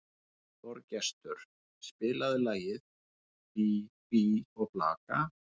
Þorgestur, spilaðu lagið „Bí bí og blaka“.